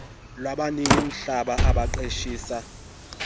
lwabanini mihlaba abaqeshisa